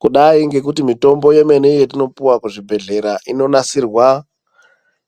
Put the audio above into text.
Kudai ngekuti mitombo yemene yetinopuwa kuzvibhedhlera inonasirwa